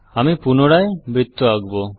আমি পুনরায় বৃত্ত আঁকব